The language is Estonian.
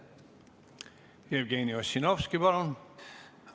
Jevgeni Ossinovski, palun!